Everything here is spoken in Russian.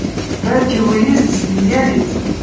братья уизли смеялись